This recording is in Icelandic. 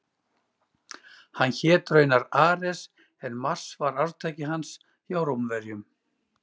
hann hét raunar ares en mars var arftaki hans hjá rómverjum